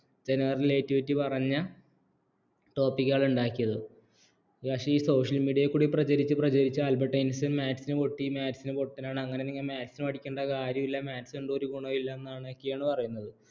ജനറലായി പറഞ്ഞ topic കൾ ഉണ്ടാക്കിയത് പക്ഷേ ഈ social media യിൽ കൂടി പ്രചരിച്ച് പ്രചരിച്ച ആൽബർട്ട് ഐൻസ്റ്റിൻ maths നു പൊട്ടി maths ന് പൊട്ടൻ ആണ് അങ്ങനെ നിങ്ങ maths പഠിക്കേണ്ട കാര്യമില്ല maths എന്തോ ഒരു ഗുണമില്ലന്നൊക്കെയാണ് പറയുന്നത്